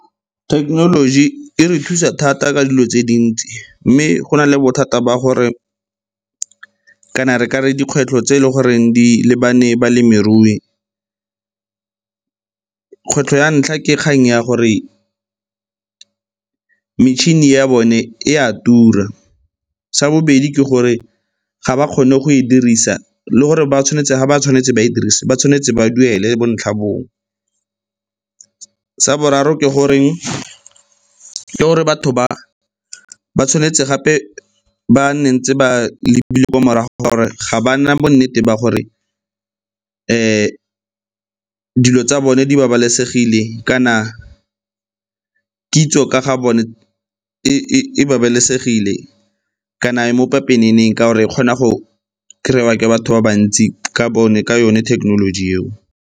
Thekenoloji e re thusa thata ka dilo tse dintsi mme go na le bothata ba gore kana re ka re dikgwetlho tse e leng goreng di lebane balemirui. Kgwetlho ya ntlha ke kgang ya gore metšhini ya bone e a tura. Sa bobedi ke gore ga ba kgone go e dirisa le gore ga ba tshwanetse ba e dirise ba tshwanetse ba duele bontlhabongwe. Sa boraro ke goreng, ke gore batho ba tshwanetse gape ba nne ntse ba ko morago ga gore ga ba nna bonnete ba gore dilo tsa bone di babalesegile kana kitso ka ga bone e babalesegile kana e mo pepeneneng ka gore e kgona go kry-a ke batho ba bantsi ka yone thekenoloji eo.